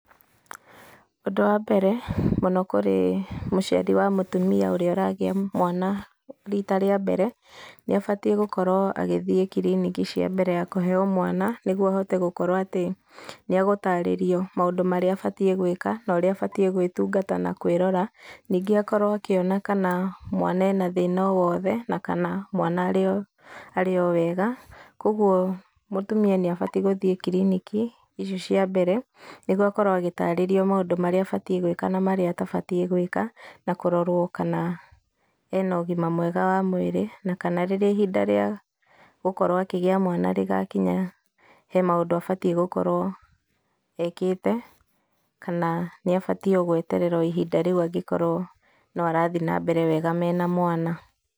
Ũndũ wa mbere, mũno kũrĩ mũciari wa mũtumia ũrĩa ũragĩa mwana, rita rĩa mbere, nĩ abatiĩ gũkorwo agĩthiĩ kiriniki cia mbere ya kũheeo mwana, nĩguo ahote gũkorwo atĩ nĩ agũtarĩrio maũndũ marĩa abatiĩ gwĩka, na ũrĩa abatiĩ gwĩtungata na kwĩrora. Ningĩ akorwo akĩona kana mwana ena thĩna o wothe, na kana mwana arĩ o, arĩ o wega. Kũguo mũtumia nĩ abati gũthiĩ kiriniki, icio cia mbere, nĩguo akorwo agĩtarĩrio maũndũ marĩa abatiĩ gwĩka na marĩa atabatiĩ gwĩka. Na kũrorwo kana ena ũgima mwega wa mwĩrĩ, na kana rĩrĩa ihinda rĩa gũkorwo akĩgĩa mwana rĩgakinya, he maũndũ abatiĩ gũkorwo ekĩte, kana nĩ abatiĩ o gweterera o ihinda rĩu angĩkorwo no arathi na mbere wega mena mwana.